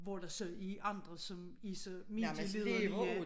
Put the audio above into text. Hvor der så er andre som er så medieliderlige